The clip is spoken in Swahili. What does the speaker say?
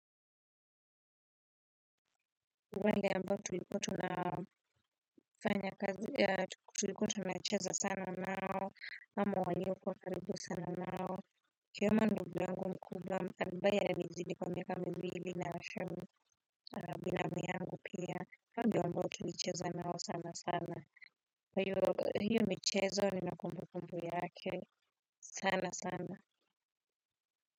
Wale ambao tulikuwa tuna. Fanya kazi tulikuwa tunacheza sana nao. Ama waliokuwa karibu sana nao. Nikiona ndugu yangu mkubwa ambaye ananizidi kwa miaka miwili na binamu yangu pia. Hao ndio ambao tulicheza nao, sana sana. Mchezo ninakumbuka umuhimu wake sana sana.